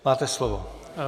Máte slovo.